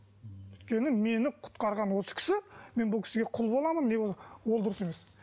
өйткені мені құтқарған осы кісі мен бұл кісіге құл боламын ол дұрыс емес